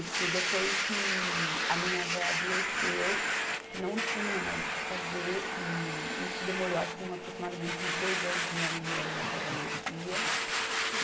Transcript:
Isso, depois que a minha avó adoeceu, que não tinha mais o que fazer, que isso demorou, acho que um, aproximadamente uns dois anos, minha mãe morando na casa da minha tia.